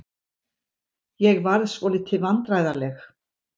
Ég varð svolítið vandræðaleg.